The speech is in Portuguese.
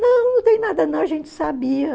Não, não tem nada não, a gente sabia.